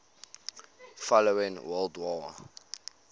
following world war